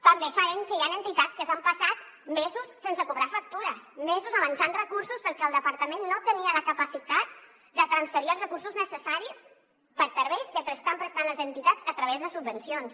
també sabem que hi han entitats que s’han passat mesos sense cobrar factures mesos avançant recursos perquè el departament no tenia la capacitat de transferir els recursos necessaris per a serveis que estan prestant les entitats a través de subvencions